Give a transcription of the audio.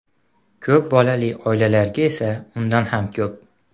Ko‘p bolali oilalarga esa undan ham ko‘p.